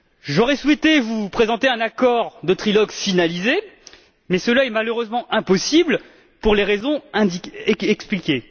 J'aurais souhaité vous présenter un accord de trilogue finalisé mais cela est malheureusement impossible pour les raisons exposées.